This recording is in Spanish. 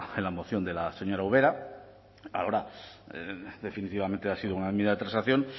en la moción de la señora ubera ahora definitivamente ha sido una enmienda de transacción